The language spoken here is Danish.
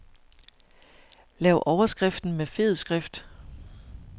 Lav overskriften med fed skrift.